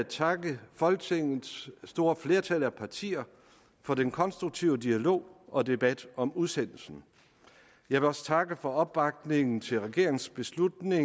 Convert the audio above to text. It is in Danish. takke folketingets store flertal af partier for den konstruktive dialog og debat om udsendelsen jeg vil også takke for opbakningen til regeringens beslutning